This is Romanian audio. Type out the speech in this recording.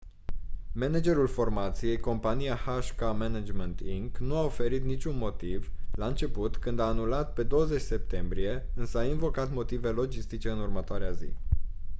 managerul formației compania hk management inc nu a oferit niciun motiv la început când a anulat pe 20 septembrie însă a invocat motive logistice în următoarea zi